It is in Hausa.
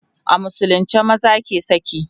a musulunce maza ke saki